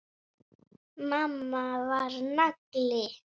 Mamma var nagli.